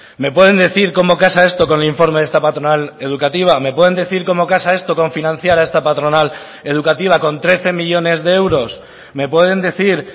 me pueden decir cómo casa esto con el informe de esta patronal educativa me pueden decir cómo casa esto con financiar a esta patronal educativa con trece millónes de euros me pueden decir